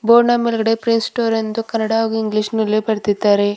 Board ಮೇಲ್ಗಡೆ prince store Kannada ಹಾಗೂ English ನಲ್ಲಿ ಬರೆದಿದ್ದಾರೆ.